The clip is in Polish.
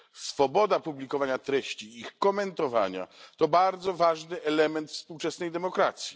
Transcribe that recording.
Swoboda publikowania treści i ich komentowania to bardzo ważny element współczesnej demokracji.